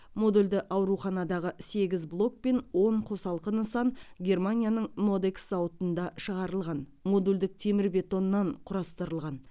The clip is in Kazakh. модульді ауруханадағы сегіз блок пен он қосалқы нысан германияның модекс зауытында шығарылған модульдік темірбетоннан құрастырылған